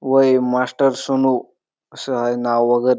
व हे मास्टर सुनो असं आहे नाव वगैरे.